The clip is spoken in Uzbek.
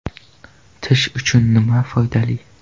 Tish uchun nima foydali?